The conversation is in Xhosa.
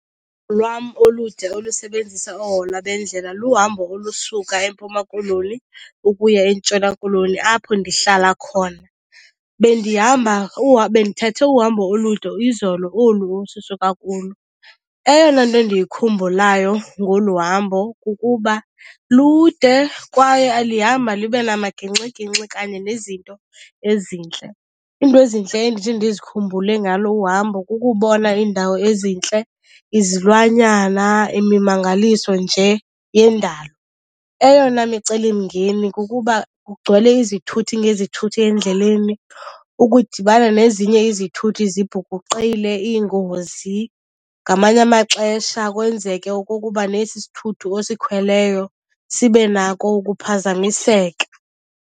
Lwam olude olusebenzisa oohola bendlela luhambo olusuka eMpuma Koloni ukuya eNtshona Koloni apho ndihlala khona. Bendihamba , bendithathe uhambo olude izolo olu osisuka kulo. Eyona nto ndiyikhumbulayo ngolu hambo kukuba lude kwaye lihamba libe namagingxigingxi kanye nezinto ezintle. Iinto ezintle endithi ndizikhumbule ngalo uhambo kukubona iindawo ezintle, izilwanyana, imimangaliso nje yendalo. Eyona micelimngeni kukuba kugcwele izithuthi ngezithuthi endleleni, ukudibana nezinye izithuthi zibhukuqile, iingozi, ngamanye amaxesha kwenzeke okokuba nesi isithuthi osikhweleyo sibe nako ukuphazamiseka.